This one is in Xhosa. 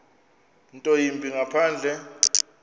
nto yimbi ngaphandle